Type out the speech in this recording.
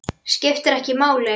Skiptir ekki máli.